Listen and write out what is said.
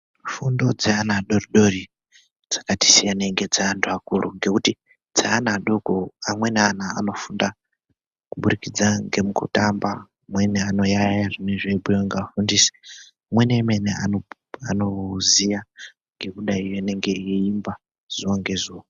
Fundondzeana adoridori dzakati siyanei ngedzeantu akuru ngekuti dzeana adoko amweni anofunda kuburikidza ngemukutamba amweni anoyaiya zvinenge zveibhuiwa ngevafundisi amweni emene anoziya ngekudai anenge eiimba zuwa ngezuwa.